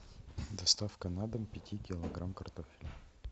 доставка на дом пяти килограмм картофеля